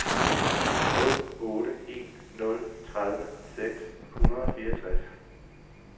nul otte en nul tredive seks hundrede og fireogtres